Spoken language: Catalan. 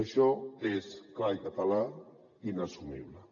això és clar i català inassumible